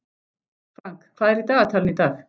Frank, hvað er í dagatalinu í dag?